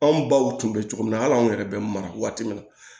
Anw baw tun bɛ cogo min na hali anw yɛrɛ bɛ mara waati min na